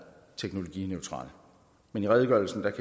teknologineutral men i redegørelsen kan